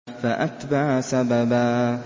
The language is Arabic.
فَأَتْبَعَ سَبَبًا